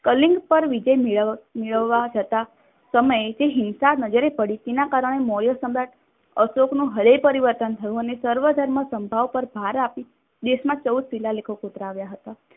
કલિંક પર વિજય મેળવવા જતા સમય તે હિંસા નજરે પડી તેના કારણે મોર્ય સમ્રાટ અશોકનું હૃદયપરિવર્તન થયું અને સર્વધર્મ સંભાવ પર ભાર આપી દેશમાં ચૌદ શિલાલેકહો કોતરાવ્યા હતા.